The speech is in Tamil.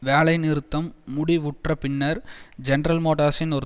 வேலை நிறுத்தம் முடிவுற்ற பின்னர் ஜெனரல் மோட்டார்ஸின் ஒரு